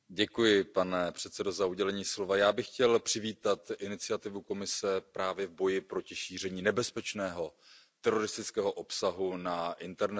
Pane předsedající, já bych chtěl přivítat iniciativu Komise právě v boji proti šíření nebezpečného teroristického obsahu na internetu.